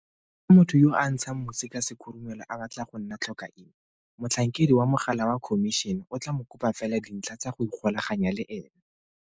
Fa motho yo a ntshang mosi ka sekhurumelo a batla go nna tlhokaina, motlhankedi wa mogala wa Khomišene o tla mo kopa fela dintlha tsa go ikgolaganya le ene.